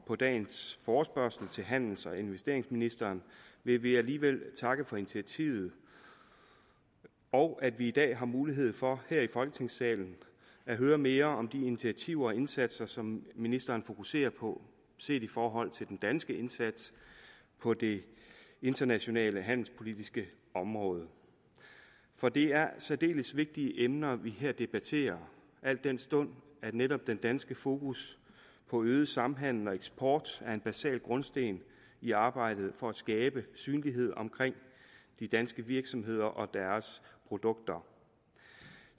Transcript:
på dagens forespørgsel til handels og investeringsministeren vil vi alligevel takke for initiativet og at vi i dag har mulighed for her i folketingssalen at høre mere om de initiativer og indsatser som ministeren fokuserer på set i forhold til den danske indsats på det internationale handelspolitiske område for det er særdeles vigtige emner vi her debatterer al den stund netop den danske fokus på øget samhandel og eksport er en basal grundsten i arbejdet for at skabe synlighed omkring de danske virksomheder og deres produkter